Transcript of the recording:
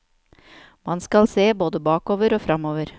Man skal se både bakover og fremover.